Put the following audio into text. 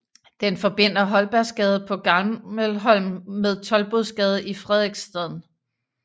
Den forbinder Holbergsgade på Gammelholm med Toldbodgade i Frederiksstaden